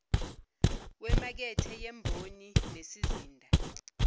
wemakethe yemboni nesizinda